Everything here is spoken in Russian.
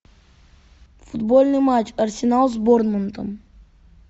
футбольный матч арсенал с борнмутом